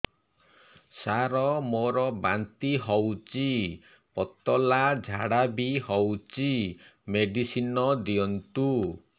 ସାର ମୋର ବାନ୍ତି ହଉଚି ପତଲା ଝାଡା ବି ହଉଚି ମେଡିସିନ ଦିଅନ୍ତୁ